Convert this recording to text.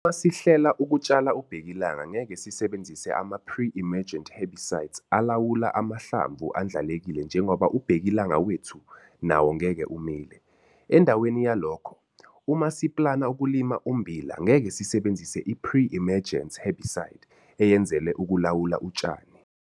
Uma sihlela ukutshala ubhekilanga ngeke sisebenzise ama-pre-emergent herbicide alawula amahlamvu andlalekile njengoba ubhekilanga wethu nawo ngeke umile. Endaweni yalokho, uma siplana ukulima ummbila ngeke sisebenzise i-pre-emergence herbicide eyenzelwe ukulawula utshani.